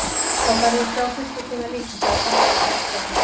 Þá færðu að sjá systur þína líka, sagði pabbi og fór aftur að hlæja.